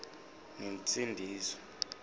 nensindiso